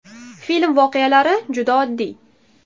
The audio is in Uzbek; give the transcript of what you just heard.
Film voqealari juda oddiy.